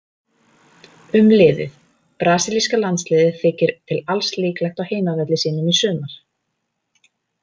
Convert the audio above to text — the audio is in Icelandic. Um liðið: Brasilíska landsliðið þykir til alls líklegt á heimavelli sínum í sumar.